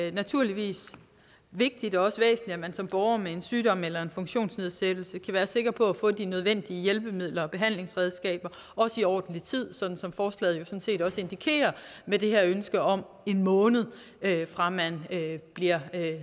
er naturligvis vigtigt og også væsentligt at man som borger med en sygdom eller en funktionsnedsættelse kan være sikker på at få de nødvendige hjælpemidler og behandlingsredskaber også i ordentlig tid sådan som forslaget også indikerer med det her ønske om en måned fra man bliver